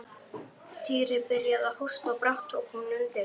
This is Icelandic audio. Týri byrjaði að hósta og brátt tók hún undir.